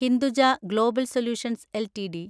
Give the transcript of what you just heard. Hinduja global solutions LTD